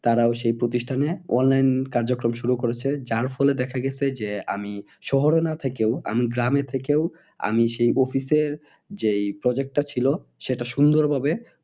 তারাও সেই প্রতিষ্ঠানে online কর্যক্রম শুরু করেছে যার ফলে দেখা গেছে যে আমি শহরে না থেকেও আমি গ্রামে থেকেও আমি সেই office এর যে project টা ছিল সেটা সুন্দর ভাবে